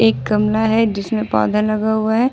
एक गमला है जिसमें पौधा लगा हुआ है ।